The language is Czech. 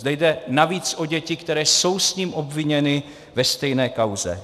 Zde jde navíc o děti, které jsou s ním obviněny ve stejné kauze.